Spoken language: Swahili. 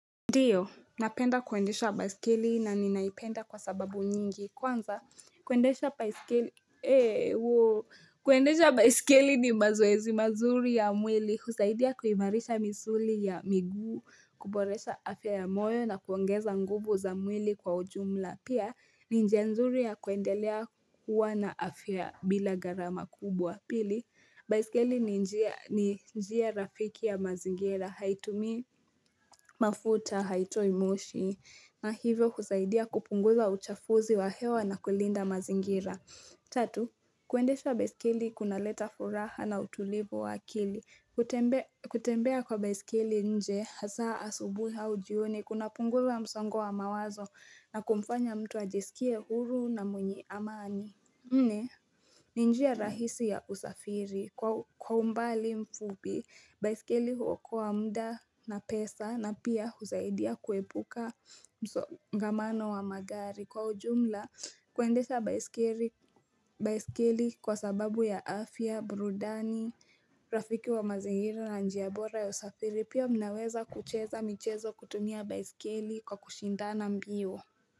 Ndiyo, napenda kuendesha baiskeli na ninaipenda kwa sababu nyingi. Kwanza, kuendesha baiskeli ni mazoezi mazuri ya mwili, husaidia kuimarisha misuli ya miguu, kuboresha afya ya moyo na kuongeza nguvu za mwili kwa ujumla. Pia, ni njia nzuri ya kuendelea kuwa na afya bila gharama kubwa. Pili, baiskeli ni njia rafiki ya mazingira, haitumii mafuta, haitoi moshi, na hivyo husaidia kupunguza uchafuzi wa hewa na kulinda mazingira. Tatu, kuendesha baiskeli kuna leta furaha na utulivu wa akili. Kutembea kwa baiskeli nje, hasa asubuhi au jioni, kunapunguza msongo wa mawazo na kumfanya mtu ajisikie huru na mwenye amani. Nne ni njia rahisi ya usafiri kwa umbali mfupi, baiskeli huokoa muda na pesa na pia husaidia kuepuka msongamano wa magari kwa ujumla kuendesha baiskeli kwa sababu ya afya, burudani, rafiki wa mazingira na njia bora ya usafiri pia mnaweza kucheza michezo kutumia baiskeli kwa kushindana mbio.